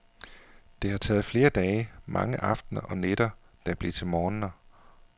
Det har taget flere dage, mange aftener, og nætter der blev til morgener.